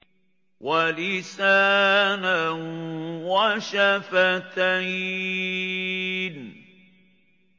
وَلِسَانًا وَشَفَتَيْنِ